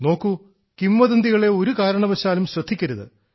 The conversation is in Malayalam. നോക്കൂ കിംവദന്തികളെ ഒരു കാരണവശാലും ശ്രദ്ധിക്കരുത്